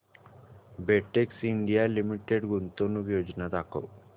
Betex India limited गुंतवणूक योजना दाखव